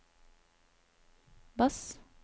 bass